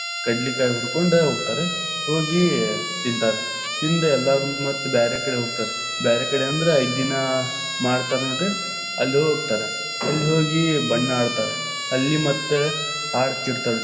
ಕಡ್ಲಿಕಾಯ್‌ ಹುರಕೊಂಡ್ ಹೋಗ್ತಾರ ಹೋಗಿ ತಿಂತಾರ, ತಿಂದ್ ಎಲ್ಲಾರು ಮತ್ತ ಬ್ಯಾರೆಕಡೆ ಹೋಗ್ತಾರ, ಬ್ಯಾರೆಕಡೆ ಅಂದ್ರ ಐದ್ದೀನಾ ಮಾಡ್ತಾರ ನೋಡ್ರಿ, ಅಲ್ಲ್‌ ಹೋಗ್ತಾರ, ಅಲ್ಲ್‌ ಹೋಗಿ ಬಣ್ಣ ಅಡ್ತಾರ. ಅಲ್ಲಿ ಮತ್ತ ಆಡತೀತಾ೯ರ.